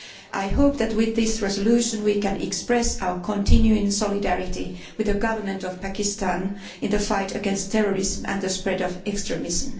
I hope that, with this resolution, we can express our continuing solidarity with the government of Pakistan in the fight against terrorism and the spread of extremism.